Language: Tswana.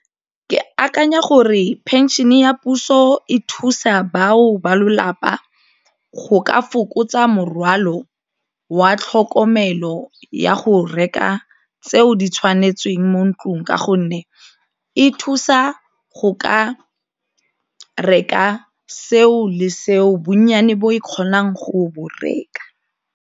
Ke akanya gore phenšhene ya puso e thusa bao ba lelapa go ka fokotsa morwalo wa tlhokomelo ya go reka tseo di tshwanetsweng mo ntlong ka gonne e thusa go ka reka seo le seo bonnyane bo e kgonang go bo reka.